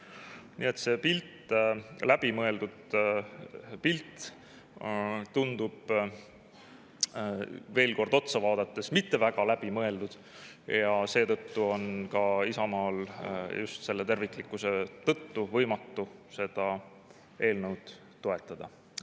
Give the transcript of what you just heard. Nii et see pilt tundub sellele veel kord otsa vaadates mitte väga läbi mõeldud ja seetõttu on Isamaal just selle terviklikkuse tõttu võimatu seda eelnõu toetada.